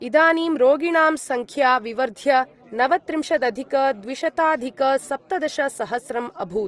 इदानीं रोगिणां संख्या विवर्ध्य नवत्रिंशदधिकद्विशताधिकसप्तदशसहस्रम् अभूत्।